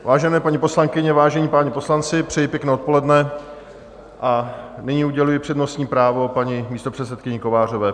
Vážené paní poslankyně, vážení páni poslanci, přeji pěkné odpoledne a nyní uděluji přednostní právo paní místopředsedkyni Kovářové.